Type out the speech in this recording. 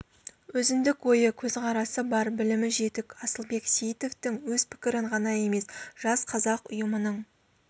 өзіндік ойы көзқарасы бар білімі жетік асылбек сейітовтің өз пікірін ғана емес жас қазақ ұйымының